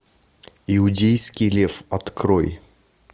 иудейский лев открой